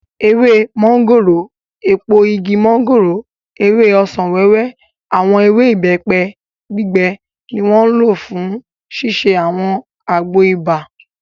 Ewé mọ́ngòrò, èpo igi mọ́ngòrò, ewé ọsàn-wẹ́wẹ́, àwọn ewé ìbẹ́pẹ gbígbẹ ni wọ́n lò fún ṣíṣe àwọn àgbo ibà